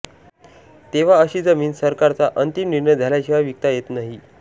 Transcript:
तेव्हा अशी जमीन सरकारचा अंतिम निर्णय झाल्याशिवाय विकता येत नाही